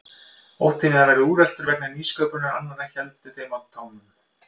Óttinn við að verða úreltur vegna nýsköpunar annarra héldi þeim á tánum.